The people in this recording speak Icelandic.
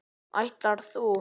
Ætlar þú.